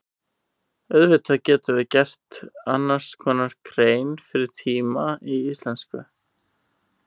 Auðvitað getum við gert annars konar grein fyrir tíma í íslensku.